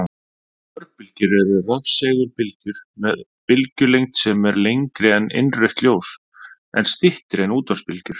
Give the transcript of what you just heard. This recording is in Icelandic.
Örbylgjur eru rafsegulbylgjur með bylgjulengd sem er lengri en innrautt ljós en styttri en útvarpsbylgjur.